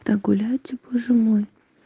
да гуляйте боже мой